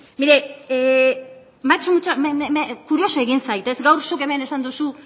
begira kurioso egin zait gaur zuk hemen esan duzu